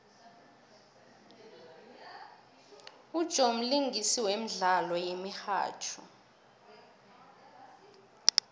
ujoe mlingisi wemdlalo yemihatjho